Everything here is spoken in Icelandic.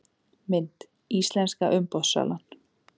Mynd: Íslenska umboðssalan